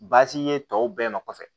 Baasi ye tɔw bɛɛ nɔfɛ